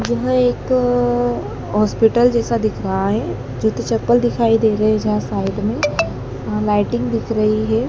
यह एक हॉस्पिटल जैसा दिख रहा है जूते चप्पल दिखाई दे रहे हैं जहां साइड में लाइटिंग दिख रही है।